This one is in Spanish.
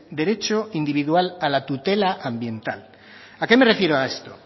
derecho individual a la tutela ambiental a qué me refiero con esto